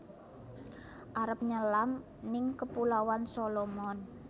Arep nyelam ning Kepulauan Solomon